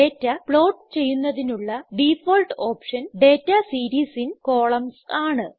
data plot ചെയ്യുന്നതിനുള്ള default option data series in columns ആണ്